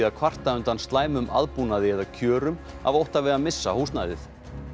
að kvarta undan slæmum aðbúnaði eða kjörum af ótta við að missa húsnæðið